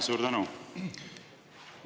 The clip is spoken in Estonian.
Suur tänu!